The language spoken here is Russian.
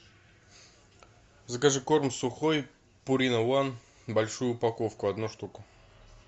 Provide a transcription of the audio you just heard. закажи корм сухой пурина ван большую упаковку одну штуку